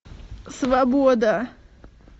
свобода